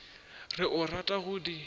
re o rata go di